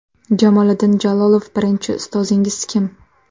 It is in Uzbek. Jamoliddin Jalolov Birinchi ustozingiz kim?